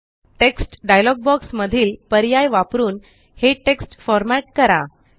text dialog box मधील पर्याय वापरून हे टेक्स्ट फॉर्मॅट करा